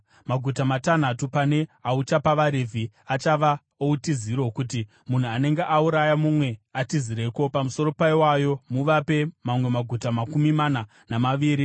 “Maguta matanhatu pane auchapa vaRevhi achava outiziro, kuti munhu anenge auraya mumwe atizireko. Pamusoro paiwayo, muvape mamwe maguta makumi mana namaviri.